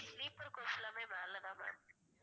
sleeper coach எல்லாமே மேல தான் ma'am